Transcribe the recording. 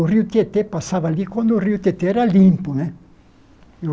O rio Tietê passava ali quando o rio Tietê era limpo né.